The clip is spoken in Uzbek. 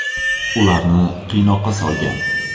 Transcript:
Ularni qiynoqqa solgan.